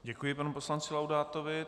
Děkuji panu poslanci Laudátovi.